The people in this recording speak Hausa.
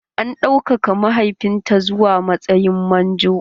An ɗaukaka mahaifinta zuwa matsayin manjo.